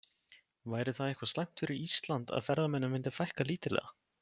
Væri það eitthvað slæmt fyrir Ísland að ferðamönnum myndi fækka lítillega?